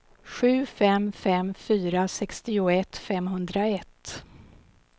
sju fem fem fyra sextioett femhundraett